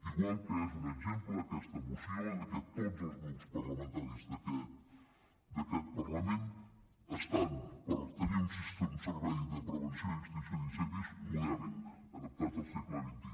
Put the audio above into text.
igual que és un exemple aquesta moció de que tots els grups parlamentaris d’aquest parlament estan per tenir un servei de prevenció i extinció d’incendis modèlic adaptat al segle xxi